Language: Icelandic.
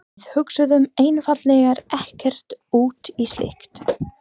Við hugsuðum einfaldlega ekkert út í slíkt.